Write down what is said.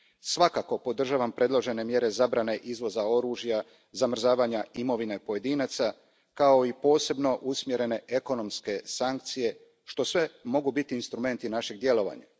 Svakako podržavam predložene mjere zabrane izvoza oružja, zamrzavanja imovine pojedinaca, kao i posebno usmjerene ekonomske sankcije, što sve mogu biti instrumenti našeg djelovanja.